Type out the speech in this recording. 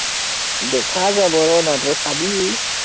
দেখা যাব, ৰ না তই চাবি